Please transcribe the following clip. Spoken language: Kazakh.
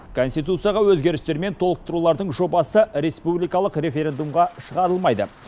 конституцияға өзгерістер мен толықтырулардың жобасы республикалық референдумға шығарылмайды